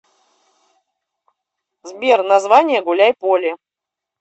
сбер название гуляйполе